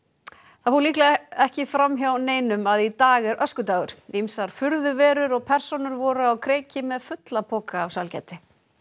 það fór líklega ekki fram hjá neinum að í dag er öskudagur ýmsar furðuverur og persónur voru á kreiki með fulla poka af sælgæti